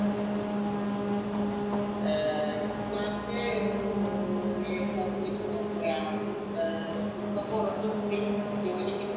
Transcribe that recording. ഏർ ഇപ്പോഴത്തെ ഒരു നീക്കുപോക്കു വെച്ച് നോക്കുകയാണെങ്കിൽ ഏർ ഇപ്പോ പുറത്തു പോയി ജോലി